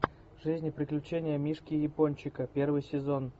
жизнь и приключения мишки япончика первый сезон